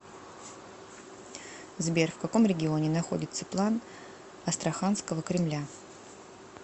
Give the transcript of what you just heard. сбер в каком регионе находится план астраханского кремля